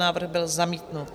Návrh byl zamítnut.